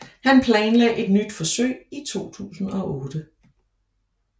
Han planlagde et nyt forsøg i 2008